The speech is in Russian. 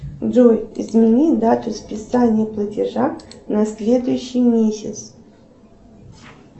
джой измени дату списания платежа на следующий месяц